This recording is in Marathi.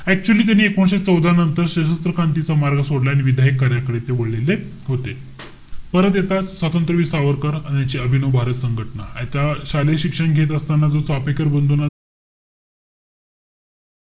Actually त्यांनी एकोणीशे चौदा नंतर सशस्त्र क्रांतीचा मार्ग सोडला. आणि विधायक कार्याकडे ते वळलेले होते. परत येता, स्वातंत्रवीर सावरकर, आणि यांची अभिनव भारत संघटना. आता शालेय शिक्षण घेत असताना जो चाफेकर बंधूंना,